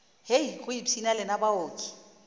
hei go ipshina lena baoki